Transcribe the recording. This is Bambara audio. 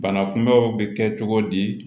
Bana kunbɛnw bɛ kɛ cogo di